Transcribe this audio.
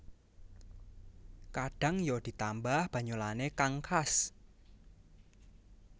Kadhang ya ditambah banyolanne kang khas